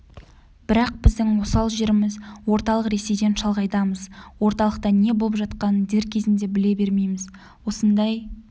бірақ біздің осал жеріміз орталық ресейден шалғайдамыз орталықта не болып жатқанын дер кезінде біле бермейміз осындай